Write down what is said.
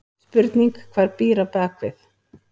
Spurning hvað býr á bakvið?!